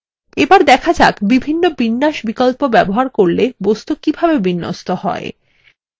এবার দেখা যাক বিভিন্ন বিন্যাস বিকল্প ব্যবহার করলে বস্তু কিভাবে বিন্যস্ত হয়